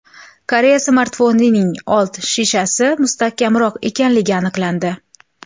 Koreya smartfonining old shishasi mustahkamroq ekanligi aniqlandi.